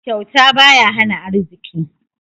Kyauta baya hana arziki.